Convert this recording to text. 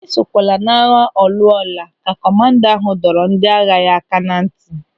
"Esokwala n'agha ọ lụọ ọ laa," ka kọmanda ahụ dọrọ ndị agha ya aka ná ntị.